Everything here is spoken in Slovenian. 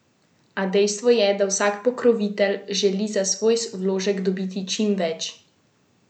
A dejstvo je, da vsak pokrovitelj želi za svoj vložek dobiti čim več.